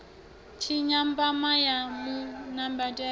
tshinya mpama wa mu nambatela